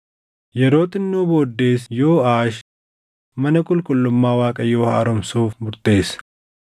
Yeroo xinnoo booddees Yooʼaash mana qulqullummaa Waaqayyoo haaromsuuf murteesse.